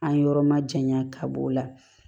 An yɔrɔ ma janya ka b'o la